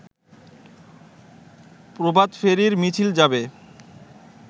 প্রভাতফেরীর মিছিল যাবে